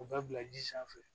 O bɛɛ bila ji sanfɛ